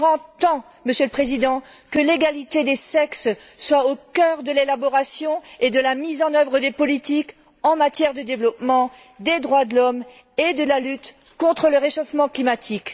Il est grand temps, Monsieur le Président, que l'égalité des sexes soit au cœur de l'élaboration et de la mise en œuvre des politiques en matière de développement, des droits de l'homme et de la lutte contre le réchauffement climatique.